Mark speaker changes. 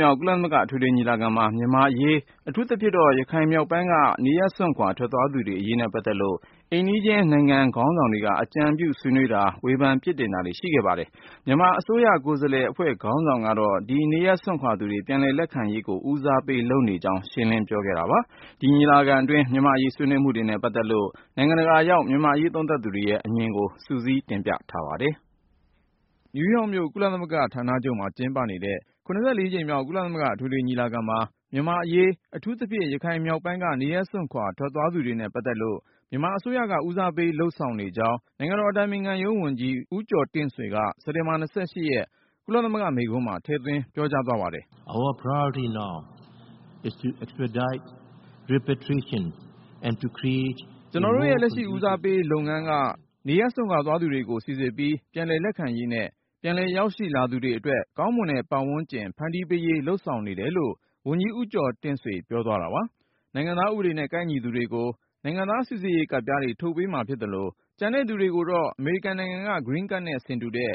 Speaker 1: မြောက် ကုလသမဂ္ဂ အထွေထွေညီလာခံမှာ မြန်မာ့အရေး အထူးသဖြင့် ရခိုင်မြောက်ပိုင်းက နေရပ်စွန့်ခွာ ထွက်သွားသူတွေအရေးနဲ့ ပတ်သက်လို့ အိမ်နီးချင်းနိုင်ငံ ခေါင်းဆောင်တွေက အကြံပြုဆွေးနွေးတာ၊ ဝေဖန် ပြစ်တင်တာတွေ ရှိခဲ့ပါတယ်။ မြန်မာအစိုးရ ကိုယ်စားလှယ်အဖွဲ့ ခေါင်းဆောင်ကတော့ ဒီနေရပ်စွန့်ခွာသူတွေ ပြန်လက်ခံရေးကို ဦးစားပေးလုပ်နေကြောင်း ရှင်းလင်းပြောခဲ့တာပါ။ ဒီညီလာခံအတွင်း မြန်မာ့အရေး ဆွေးနွေးမှုတွေနဲ့ ပတ်သက်လို့ နိုင်ငံတကာရောက် မြန်မာ့အရေး သုံးသပ်သူတွေရဲ့ အမြင်ကို ကိုဉာဏ်ဝင်းအောင်က စုစည်းတင်ပြထားပါတယ်။ စက်တင်ဘာ ၂၄ ကနေ ၃၀ ရက်နေ့ထိ နယူးယောက်မြို့ ကုလသမဂ္ဂ ဌာနချုပ်မှာ ကျင်းပနေတဲ့ ၇၄ ကြိမ်မြောက် ကုလသမဂ္ဂ အထွေထွေညီလာခံမှာ မြန်မာ့အရေး အထူးသဖြင့် ရခိုင်မြောက်ပိုင်းက နေရပ်စွန့်ခွာ ထွက်သွားသူတွေနဲ့ ပတ်သက်လို့ မြန်မာအစိုးရက ဦးစားပေး လုပ်ဆောင်နေကြောင်း နိုင်ငံတော်အတိုင်ပင်ခံရုံးဝန်ကြီး ဦးကျော်တင့်ဆွေက စက်တင်ဘာ ၂၈ ရက် ကုလသမဂ္ဂမိန့်ခွန်းမှာ ထည့်သွင်း ပြောကြားသွားပါတယ်။ “
Speaker 2: ကျနော်တို့ရဲ့ လက်ရှ
Speaker 1: ိ ဦးစားပေးလုပ်ငန်းက နေရပ်စွန့်ခွာသွားသူတွေကို စိစစ်ပြီး ပြန်လည်လက်ခံရေးနဲ့ ပြန်လည်ရောက်ရှိလာသူတွေအတွက် ကောင်းမွန်တဲ့ ပတ်ဝန်းကျင် ဖန်တီးပေးရေး လုပ်ဆောင်နေတယ်” လို့ ဝန်ကြီး ဦးကျော်တင့်ဆွေ ပြောသွားတာပါ။ နိုင်ငံသားဥပဒေနဲ့ ကိုက်ညီသူတွေကို နိုင်ငံသားစိစစ်ရေးကတ်ပြားတွေ ထုတ်ပေးမှာဖြစ်သလို ကျန်တဲ့သူတွေကိုတော့ အမေရိကန်နိုင်ငံက “Green Card” နဲ့ ဆင်တူတဲ့